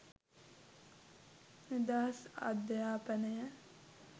නිදහස් අධ්‍යාපනය